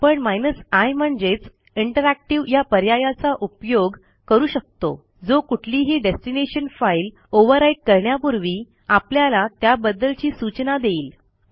आपण i म्हणजेच interactive या पर्यायाचा उपयोग करू शकतो जो कुठलीही डेस्टिनेशन फाईल ओव्हरराईट करण्यापूर्वी आपल्याला त्याबद्दवची सूचना देईल